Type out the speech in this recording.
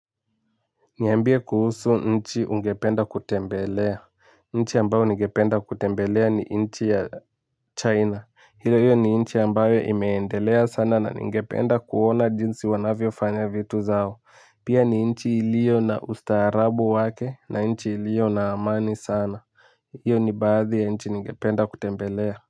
Niambie kuhusu nchi ungependa kutembelea. Nchi ambayo ningependa kutembelea ni nchi ya China. Hilo hiyo ni nchi ambayo imeendelea sana na ningependa kuona jinsi wanavyo fanya vitu zao. Pia ni nchi iliyo na ustaarabu wake na nchi iliyo na amani sana. Hiyo ni baadhi ya nchi ningependa kutembelea. Kwa hivyo.